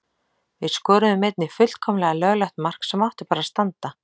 Við skoruðum einnig fullkomlega löglegt mark sem átti bara að standa.